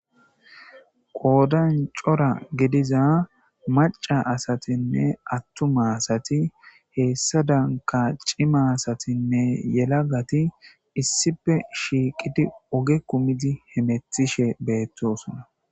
Qoodan cora gidiza maca asatinne attuma heessa danka cima asatinne yelagati issippe shiiqidi oge kumidi hemethishe beettosona.